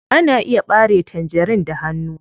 Ana iya ɓare tangerin da hanu.